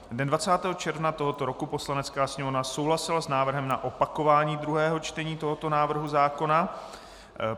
Dne 20. června tohoto roku Poslanecká sněmovna souhlasila s návrhem na opakování druhého čtení tohoto návrhu zákona.